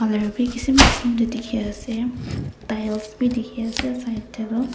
colour bi kisim kisim tey dikhi ase tiles bi dikhi ase side tey doh.